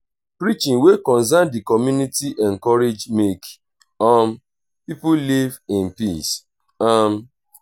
preaching wey concern di community encourage make um pipo live in peace um